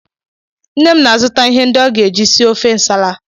Nne m na-azụta ihe ndị ọ ga-eji sie ofe Nsala.